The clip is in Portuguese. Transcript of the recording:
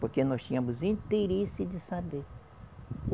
Porque nós tínhamos interesse de saber.